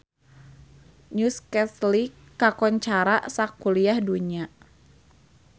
Newcastle kakoncara sakuliah dunya